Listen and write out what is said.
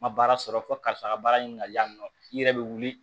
Ma baara sɔrɔ fɔ karisa ka baara ɲini ka di yan nɔ i yɛrɛ be wuli